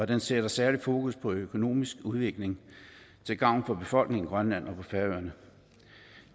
den sætter særlig fokus på økonomisk udvikling til gavn for befolkningen i grønland og på færøerne